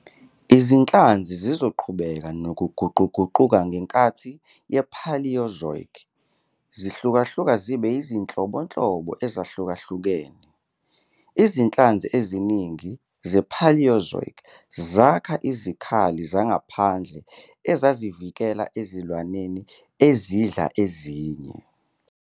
Izinhlanzi zizoqhubeka nokuguquguquka ngenkathi yePaleozoic, zihlukahluka zibe yizinhlobo ezahlukahlukene. Izinhlanzi eziningi zePaleozoic zakha izikhali zangaphandle ezazivikela ezilwaneni ezidla ezinye.